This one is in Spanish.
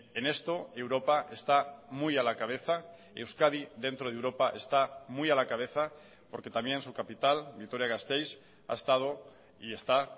en esto europa está muy a la cabeza euskadi dentro de europa está muy a la cabeza porque también su capital vitoria gasteiz ha estado y está